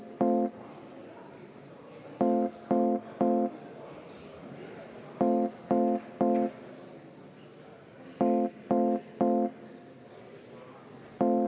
Protseduuriline küsimus, Kalle Grünthal!